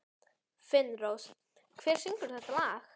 Finnrós, hver syngur þetta lag?